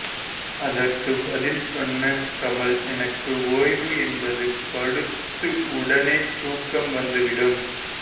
அதற்கு பதில் சொன்ன கமல் எனக்கு ஓய்வு என்பது படுத்து உடனே தூக்கம் வந்துவிடும்